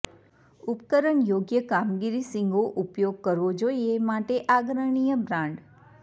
ઉપકરણ યોગ્ય કામગીરી શીંગો ઉપયોગ કરવો જોઇએ માટે આગ્રહણીય બ્રાન્ડ